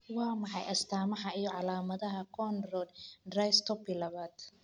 Waa maxay astamaha iyo calaamadaha Cone rod dystrophy labaad?